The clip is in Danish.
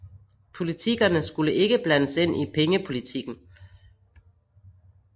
Politikerne skulle ikke blandes ind i pengepolitikken